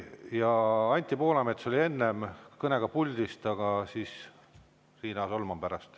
Kõigepealt Anti Poolamets kõnega puldist ja siis Riina Solman.